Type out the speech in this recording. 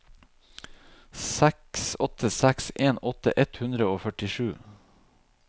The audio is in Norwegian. seks åtte seks en åtti ett hundre og førtisju